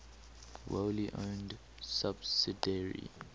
wholly owned subsidiary